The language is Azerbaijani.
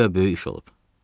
Guya böyük iş olub.